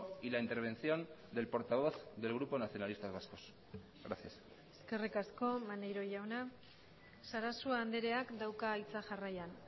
y la intervención del portavoz del grupo nacionalistas vascos gracias eskerrik asko maneiro jauna sarasua andreak dauka hitza jarraian